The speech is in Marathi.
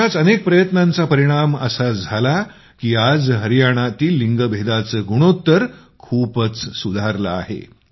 अशाच अनेक् प्रयत्नांचा परिणाम असा झाला की आज हरियाणातील लिग गुणोत्तर खूपच सुधारलं आहे